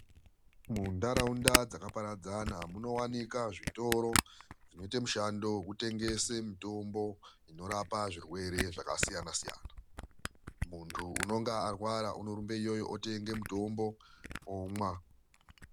Munharaunda dzakaparadzana munowanikwa zvitora zvinoite mishando yekutengese mitombo inorapa zvirwere zvakasiyana-siyana. Muntu unenge arwara anorumba iyoyo otenge mutombo onwa.